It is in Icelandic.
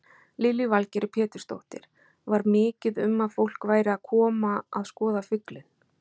Lillý Valgerður Pétursdóttir: Var mikið um að fólk væri að koma að skoða fuglinn?